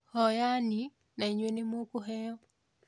Hoya-ni na inywe nĩ mũkũheo